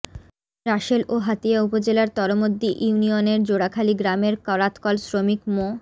রাসেল ও হাতিয়া উপজেলার তরমদ্দি ইউনিয়নের জোড়াখালী গ্রামের করাতকল শ্রমিক মো